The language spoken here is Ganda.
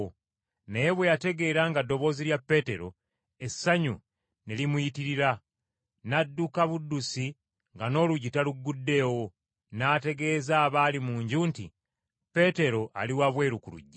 Naye bwe yategeera nga ddoboozi lya Peetero essanyu ne limuyitirira, n’adduka buddusi nga n’oluggi talugguddeewo, n’ategeeza abaali mu nju nti, “Peetero ali wabweru ku luggi!”